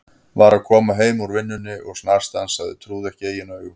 Var að koma heim úr vinnunni og snarstansaði, trúði ekki eigin augum.